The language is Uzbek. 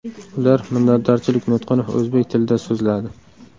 Ular minnatdorchilik nutqini o‘zbek tilida so‘zladi .